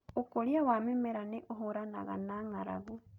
Ũkũria wa mĩmera nĩ ũhũranaga na ng'aragu